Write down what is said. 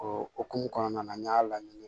Ɔ o hukumu kɔnɔna na n y'a laɲini